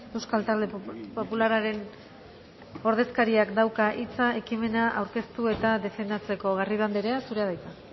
euskal talde popularraren ordezkariak dauka hitza ekimena aurkeztu eta defendatzeko garrido andrea zurea da hitza